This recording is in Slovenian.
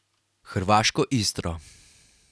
Hrvaško Istro.